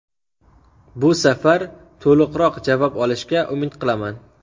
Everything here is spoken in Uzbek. Bu safar to‘liqroq javob olishga umid qilaman.